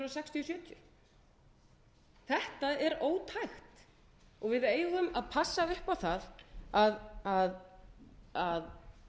til nítján hundruð sjötíu þetta er ótækt og við eigum að passa upp á það að